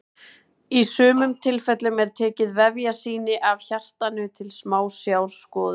Í sumum tilfellum er tekið vefjasýni af hjartanu til smásjárskoðunar.